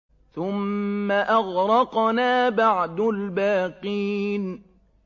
ثُمَّ أَغْرَقْنَا بَعْدُ الْبَاقِينَ